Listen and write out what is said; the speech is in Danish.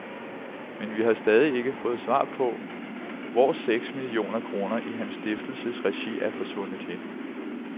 Men vi har stadig ikke fået svar på, hvor seks millioner kroner i hans stiftelses regi er forsvundet hen.